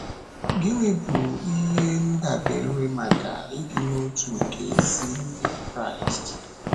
Gịnị bụ ihe ndàbèrè maka ịdị n’otu nke ezi Ndị Kraịst?